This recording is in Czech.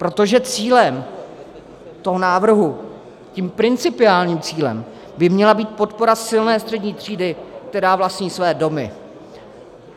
Protože cílem toho návrhu, tím principiálním cílem, by měla být podpora silné střední třídy, která vlastní své domy.